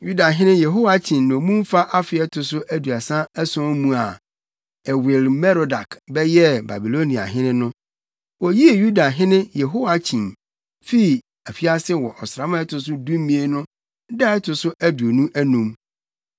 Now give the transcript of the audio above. Yudahene Yehoiakyin nnommumfa afe a ɛto so aduasa ason mu a Ewil-Merodak bɛyɛɛ Babiloniahene no, oyii Yudahene Yehoiakyin fii afiase wɔ ɔsram a ɛto so dumien no da a ɛto so aduonu anum.